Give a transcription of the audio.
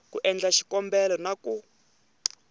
ku endla xikombelo na ku